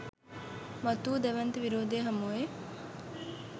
මතු වූ දැවැන්ත විරෝධය හමුවේ